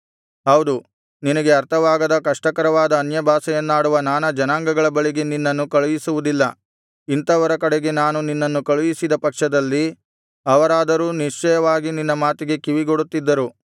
ಹೌದು ನಿನಗೆ ಅರ್ಥವಾಗದ ಕಷ್ಟಕರವಾದ ಅನ್ಯಭಾಷೆಯನ್ನಾಡುವ ನಾನಾ ಜನಾಂಗಗಳ ಒಳಗೆ ನಿನ್ನನು ಕಳುಹಿಸುವುದಿಲ್ಲ ಇಂಥವರ ಕಡೆಗೆ ನಾನು ನಿನ್ನನ್ನು ಕಳುಹಿಸಿದ ಪಕ್ಷದಲ್ಲಿ ಅವರಾದರೂ ನಿಶ್ಚಯವಾಗಿ ನಿನ್ನ ಮಾತಿಗೆ ಕಿವಿಗೊಡುತ್ತಿದ್ದರು